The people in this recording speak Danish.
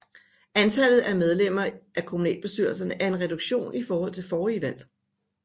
Antallet af medlemmer af kommunalbestyrelserne er en reduktion i forhold til forrige valg